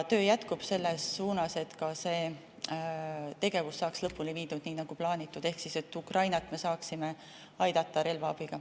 Töö jätkub selles suunas, et ka see tegevus saaks lõpule viidud, nii nagu plaanitud, ehk et me saaksime Ukrainat aidata relvaabiga.